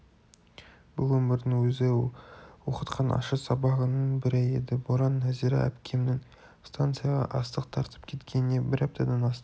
бұлөмірдің өзі оқытқан ащы сабағының бірі еді боран нәзира әпкемнің станцияға астық тартып кеткеніне бір аптадан асты